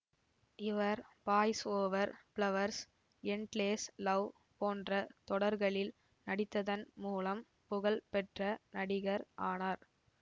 இவர் boys over flowers endless love போன்ற தொடர்களில் நடித்ததன் மூலம் புகழ் பெற்ற நடிகர் ஆனார்